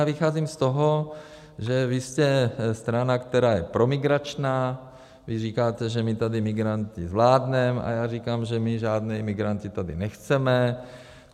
Já vycházím z toho, že vy jste strana, která je promigrační, vy říkáte, že my tady migranty zvládneme, a já říkám, že my žádné imigranty tady nechceme.